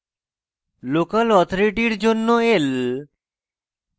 local authority জন্য l